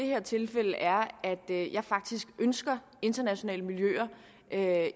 her tilfælde er at jeg faktisk ønsker internationale miljøer